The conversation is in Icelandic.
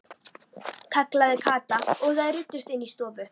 kallaði Kata og þær ruddust inn í stofu.